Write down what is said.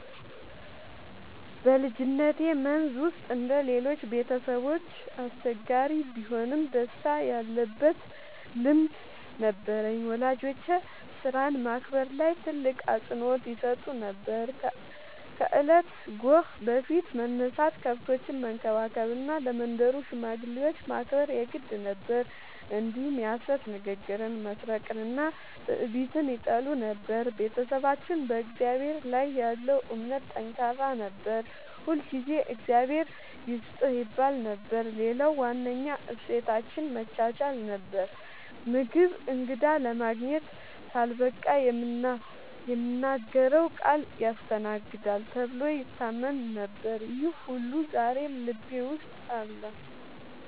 በልጅነቴ መንዝ ውስጥ እንደ ሌሎቹ ቤተሰቦች አስቸጋሪ ቢሆንም ደስታ ያለበት ልምድ ነበረኝ። ወላጆቼ ሥራን ማክበር ላይ ትልቅ አፅንዖት ይሰጡ ነበር፤ ከእለቱ ጎህ በፊት መነሳት፣ ከብቶችን መንከባከብ እና ለመንደሩ ሽማግሌዎች ማክበር የግድ ነበር። እንዲሁም የሐሰት ንግግርን፣ መስረቅንና ትዕቢትን ይጠሉ ነበር። ቤተሰባችን በእግዚአብሔር ላይ ያለው እምነት ጠንካራ ነበር፤ ሁልጊዜ “እግዚአብሔር ይስጥህ” ይባል ነበር። ሌላው ዋነኛ እሴታችን መቻቻል ነበር፤ ምግብ እንግዳ ለማግኘት ካልበቃ የምናገረው ቃል ያስተናግዳል ተብሎ ይታመን ነበር። ይህ ሁሉ ዛሬም ልቤ ውስጥ አለ።